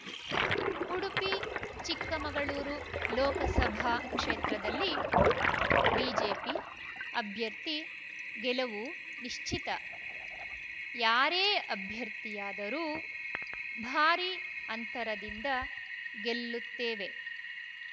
ಉಡುಪಿಚಿಕ್ಕಮಗಳೂರು ಲೋಕಸಭಾ ಕ್ಷೇತ್ರದಲ್ಲಿ ಬಿಜೆಪಿ ಅಭ್ಯರ್ಥಿ ಗೆಲುವು ನಿಶ್ಚಿತ ಯಾರೇ ಅಭ್ಯರ್ಥಿಯಾದರೂ ಭಾರೀ ಅಂತರದಿಂದ ಗೆಲ್ಲುತ್ತೇವೆ